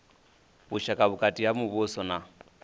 vhushaka vhukati ha muvhuso na